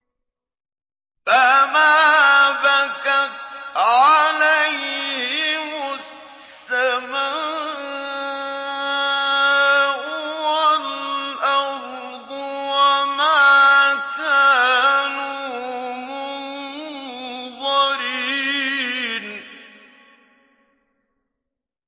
فَمَا بَكَتْ عَلَيْهِمُ السَّمَاءُ وَالْأَرْضُ وَمَا كَانُوا مُنظَرِينَ